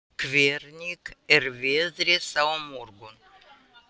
Benvý, hvernig er veðrið á morgun?